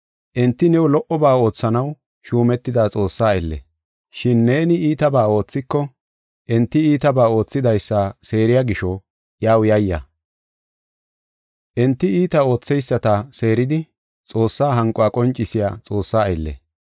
Enti new lo77oba oothanaw shuumetida Xoossaa aylle. Shin neeni iitabaa oothiko, enti iitabaa oothidaysa seeriya gisho iyaw yayya. Enti iita ootheyisata seeridi, Xoossaa hanquwa qoncisiya Xoossaa aylle.